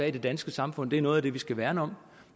i det danske samfund er noget af det vi skal værne om